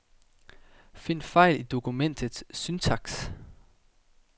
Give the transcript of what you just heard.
Find fejl i dokumentets syntaks.